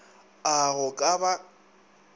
a a go ka ba